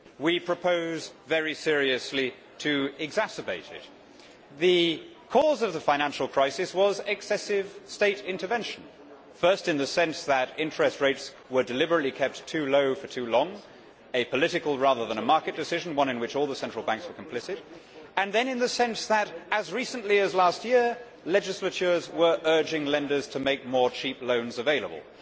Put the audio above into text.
Madam President, we propose very seriously to exacerbate it. The cause of the financial crisis was excessive state intervention first in the sense that interest rates were deliberately kept too low for too long, a political rather than a market decision one in which all the central banks were complicit and then in the sense that, as recently as last year, legislatures were urging lenders to make more cheap loans available.